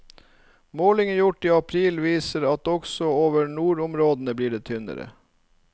Målinger gjort i april viser at også over nordområdene blir det tynnere.